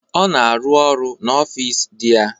Ọ na arụ n'ọfịs dị ya.